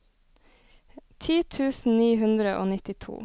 ti tusen ni hundre og nittito